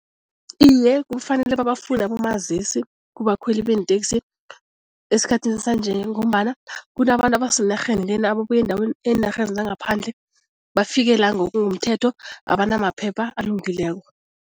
Iye, kufanele babafune abomazisi kubakhweli beenteksi esikhathini sanje ngombana kunabantu abasenarheni lena ababuya eendaweni eenarheni zangaphandle bafike la ngokungemthetho abanamaphepha alungileko.